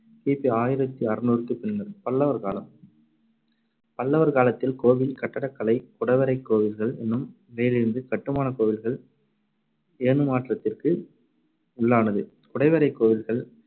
கி பி ஆயிரத்தி அறுநூறுக்கு பின்னர். பல்லவர் காலம் பல்லவர் காலத்தில் கோவில் கட்டடக் கலை குடைவரைக் கோவில்கள் என்னும் நிலையிலிருந்து கட்டுமானக் கோவில்கள் எனும் மாற்றத்திற்கு உள்ளானது. குடைவரைக் கோவில்கள்